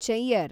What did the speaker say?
ಚೆಯ್ಯರ್